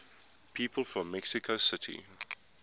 people from mexico city